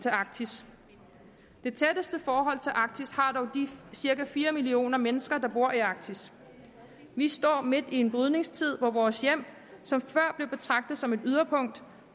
arktis det tætteste forhold til arktis har dog de cirka fire millioner mennesker der bor i arktis vi står midt i en brydningstid hvor vores hjem som før blev betragtet som et yderpunkt